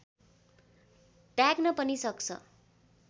त्याग्न पनि सक्छ